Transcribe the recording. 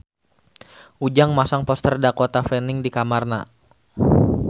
Ujang masang poster Dakota Fanning di kamarna